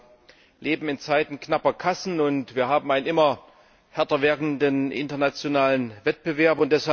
Wir leben in Zeiten knapper Kassen, und wir haben einen immer härter werdenden internationalen Wettbewerb.